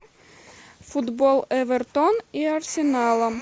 футбол эвертон и арсеналом